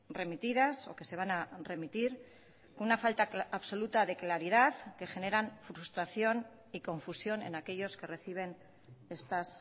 remitidas o que se van a remitir una falta absoluta de claridad que generan frustración y confusión en aquellos que reciben estas